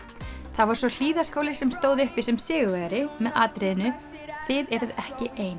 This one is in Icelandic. það var svo Hlíðaskóli sem stóð uppi sem sigurvegari með atriðinu þið eruð ekki ein